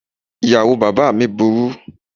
Ìyàwó bàbáà mi burú.